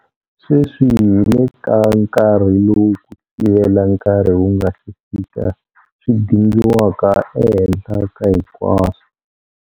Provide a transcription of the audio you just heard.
Sweswi hi le ka nkarhi lowu ku sivela nkarhi wu nga si fika swi dingiwaka ehenhla ka hinkwaswo.